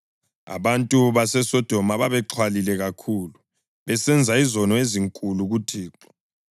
Abantu baseSodoma babexhwalile kakhulu, besenza izono ezinkulu kuThixo.